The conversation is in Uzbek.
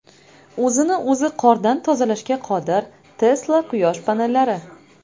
O‘zini o‘zi qordan tozalashga qodir Tesla quyosh panellari.